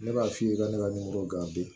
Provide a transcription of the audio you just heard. Ne b'a f'i ye ka ne ka nimoro gan bi